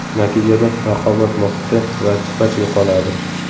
Natijada raqobat muhiti va sifat yo‘qoladi.